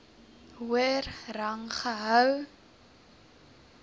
hoër rang gehou